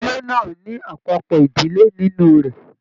Ilé náà ní àpapọ ìdílé nínú rẹ.